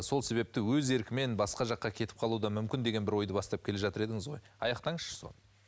сол себепті өз еркімен басқа жаққа кетіп қалуы да мүмкін деген бір ойды бастап келе жатыр едіңіз ғой аяқтаңызшы соны